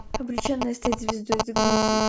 обреченная стать звездой загрузи